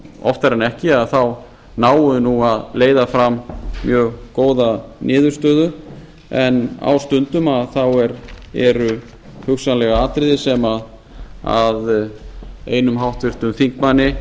oftar en ekki náum við nú að leiða fram mjög góða niðurstöðu en á stundum eru hugsanlega atriði sem einum háttvirtum þingmanni